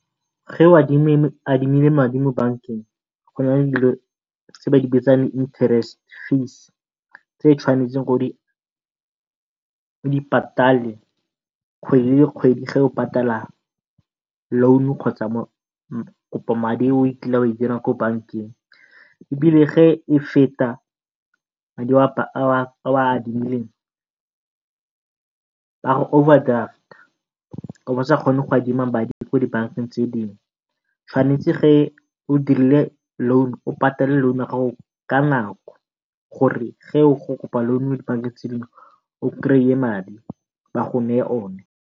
o adimile madi mo bankeng go na le dilo tse ba di bitsang di interest fees tse tshwanetseng o di patale kgwedi le kgwedi o patala loan-u kgotsa kopomadi e o kileng wa e dira mo bankeng ebile feta madi a o a adimileng, ba go overdraft-a o boo o sa kgone go adima madi ko dibankeng tse dingwe. Tshwanetse o dirile loan, o patale loan ya gago ka nako gore ge o kopa loan ko dibankeng tse dingwe o krey-e madi ba go ona.